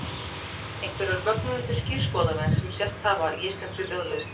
einhverjar mögnuðustu skírskotanir sem sést hafa í íslenskri ljóðlist